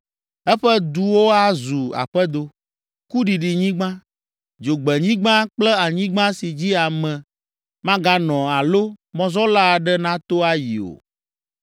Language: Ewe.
Eƒe duwo azu aƒedo, kuɖiɖinyigba, dzogbenyigba kple anyigba si dzi ame maganɔ alo mɔzɔla aɖe nato ayi o.